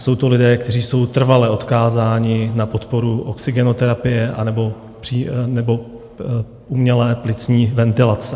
Jsou to lidé, kteří jsou trvale odkázáni na podporu oxygenoterapie nebo umělé plicní ventilace.